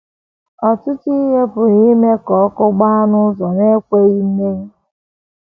Ọtụtụ ihe pụrụ ime ime ka ọkụ gbaa n’ụzọ na - ekweghị mmenyụ.